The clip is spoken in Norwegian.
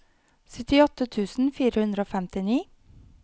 syttiåtte tusen fire hundre og femtini